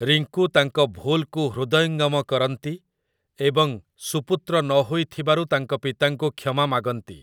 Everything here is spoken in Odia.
ରିଙ୍କୁ ତାଙ୍କ ଭୁଲ୍‌କୁ ହୃଦୟଙ୍ଗମ କରନ୍ତି ଏବଂ ସୁପୁତ୍ର ନ ହୋଇଥିବାରୁ ତାଙ୍କ ପିତାଙ୍କୁ କ୍ଷମା ମାଗନ୍ତି ।